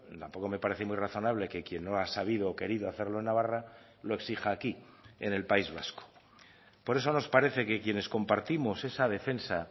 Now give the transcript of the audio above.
tampoco me parece muy razonable que quien no ha sabido o querido hacerlo en navarra lo exija aquí en el país vasco por eso nos parece que quienes compartimos esa defensa